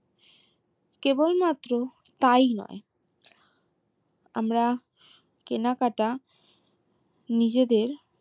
কেবল মাত্র তাই নয় আমরা কেনাকাটা নিজেদের